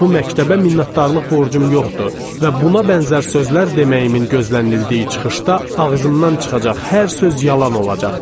Bu məktəbə minnətdarlıq borcum yoxdur və buna bənzər sözlər deməyimin gözlənildiyi çıxışda ağzımdan çıxacaq hər söz yalan olacaqdır.